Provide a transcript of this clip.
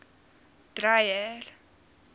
dreyer